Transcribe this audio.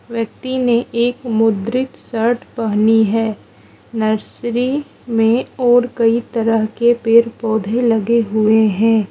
व्यक्ति ने एक मुद्रित शर्ट पहनी है नर्सरी में और कई तरह के पेड़ पौधे लगे हुए हैं।